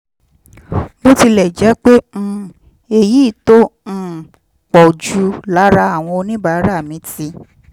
bó tilẹ̀ jẹ́ pé um èyí tó um pọ̀ jù lára àwọn oníbàárà mi ti